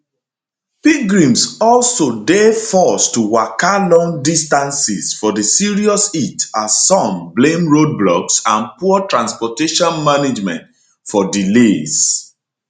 pilgrims also dey forced to waka long distances for di serious heat as some blame roadblocks and poor transportation management for delays